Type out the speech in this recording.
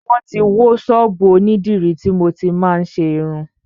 Wọ́n ti wó ṣọ́ọ́bù onídìrí tí mo ti máa ń ṣe irun.